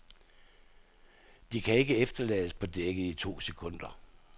De kan ikke efterlades på dækket i to sekunder.